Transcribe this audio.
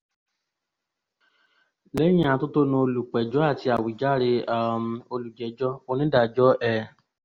lẹ́yìn atótónu olùpẹ̀jọ́ àti àwíjàre um olùjẹ́jọ́ onídàájọ́ ẹ̀